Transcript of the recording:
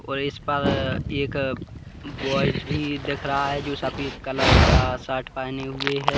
और इस पर एक वाच भी दिख रहा है जो सफेद कलर का शर्ट पहने हुए है।